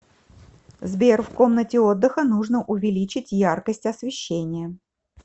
сбер в комнате отдыха нужно увеличить яркость освещения